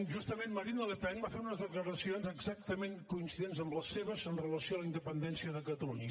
justament marine le pen va fer unes declaracions exactament coincidents amb les seves amb relació a la independència de catalunya